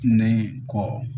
Ne kɔ